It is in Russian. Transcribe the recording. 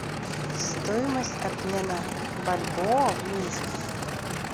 стоимость обмена бальбоа в минске